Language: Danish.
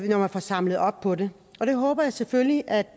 når man får samlet op på det og det håber jeg selvfølgelig at